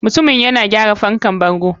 Mutumin yana gyara fankar bango.